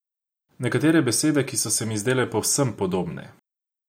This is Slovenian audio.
Nekatere besede, ki so se mi zdele povsem podobne.